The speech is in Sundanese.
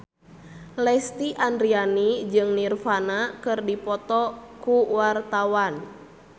Lesti Andryani jeung Nirvana keur dipoto ku wartawan